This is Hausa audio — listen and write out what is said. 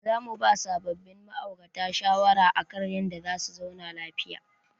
Za mu ba sabobbin ma'aurata shawara akan yadda za su zauna lafiya.